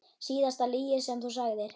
Síðasta lygi sem þú sagðir?